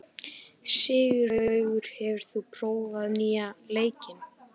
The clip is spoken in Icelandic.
Sigurlaugur, hefur þú prófað nýja leikinn?